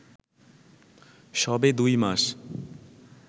সবে দুই মাস